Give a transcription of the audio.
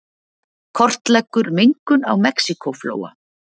Kortleggur mengun á Mexíkóflóa